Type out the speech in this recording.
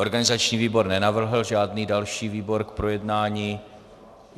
Organizační výbor nenavrhl žádný další výbor k projednání.